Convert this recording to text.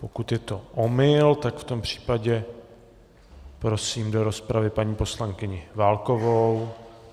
Pokud je to omyl, tak v tom případě prosím do rozpravy paní poslankyni Válkovou.